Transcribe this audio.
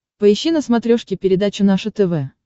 поищи на смотрешке передачу наше тв